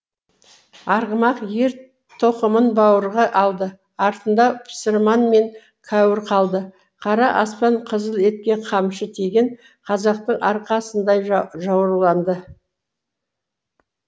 арғымақ ер тоқымын бауырға алды артында пұсырман мен кәуір қалды қара аспан қызыл етке қамшы тиген қазақтың арқасындай жауырланды